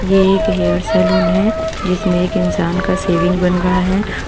ये एक hair salon है जिसमें एक इंसान का सेविंग बन रहा है।